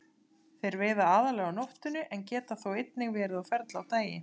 Þeir veiða aðallega á nóttunni en geta þó einnig verið á ferli á daginn.